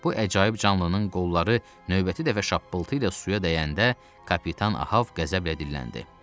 Bu əcaib canlının qolları növbəti dəfə şappıltı ilə suya dəyəndə kapitan Ahəv qəzəblə dilləndi.